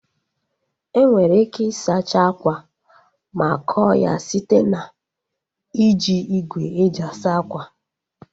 Enwere ike ị sacha akwa ma kọọ ya site na iji igwe e ji asa akwa